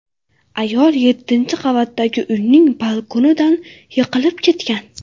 Ayol yettinchi qavatdagi uyning balkonidan yiqilib ketgan.